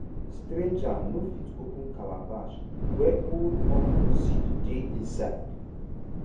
stranger no fit open calabash wey old okra seed dey inside.